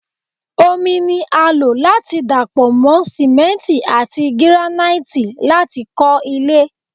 Omi ní a lo láti dapọ mọ simenti ati giranaiti lati kọ ilé